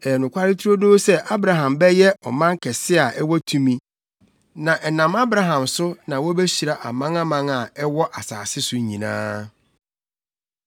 Ɛyɛ nokware turodoo sɛ Abraham bɛyɛ ɔman kɛse a ɛwɔ tumi. Na ɛnam Abraham so na wobehyira amanaman a ɛwɔ asase so nyinaa.